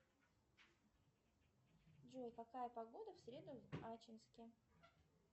джой какая погода в среду в ачинске